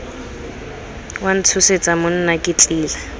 wa ntshosetsa monna ke tlile